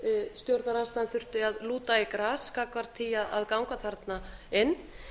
stjórnarandstaðan þurfti að lúta í gras gagnvart því að ganga þarna inn